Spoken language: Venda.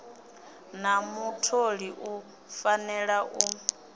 na mutholi u fanela u